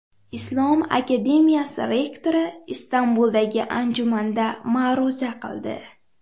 Islom akademiyasi rektori Istanbuldagi anjumanda ma’ruza qildi.